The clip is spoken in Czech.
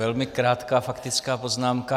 Velmi krátká faktická poznámka.